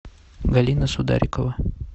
галина сударикова